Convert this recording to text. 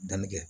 Danni kɛ